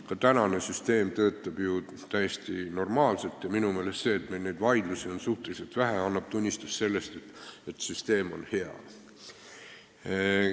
Ka praegune süsteem töötab ju täiesti normaalselt ja see, et meil neid vaidlusi on suhteliselt vähe, annab tunnistust sellest, et süsteem on hea.